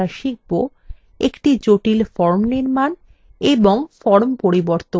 একটি জটিল form নির্মান